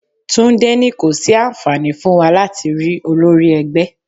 Túndé ní kò sí àǹfààní fún wa láti rí olórí ẹgbẹ́.